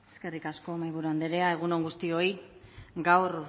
eskerrik asko mahaiburu andrea egun on guztioi gaur